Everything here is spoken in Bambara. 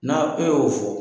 Na e y'o fɔ.